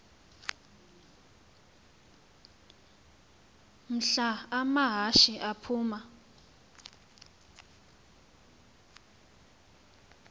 mhla amahashe aphuma